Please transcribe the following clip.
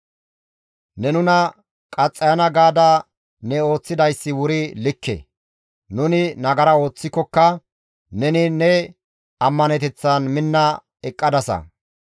Ne nuna qaxxayana gaada ne ooththidayssi wuri likke; nuni nagara ooththikokka neni ne ammaneteththan minna eqqadasa.